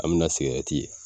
An bi na sigɛrɛti ye